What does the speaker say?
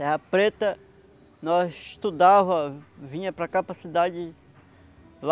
Terra Preta nós estudava, vinha para cá para a cidade, lá